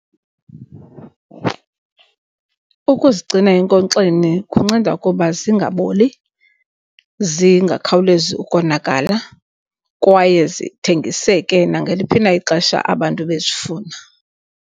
Ukuzigcina enkonkxeni kunceda ukuba zingaboli, zingakhawulezi ukonakala kwaye zithengiseke nangeliphi na ixesha abantu bezifuna.